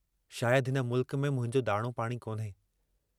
शायद हिन मुल्क में मुंहिंजो दाणो पाणी कोन्हे।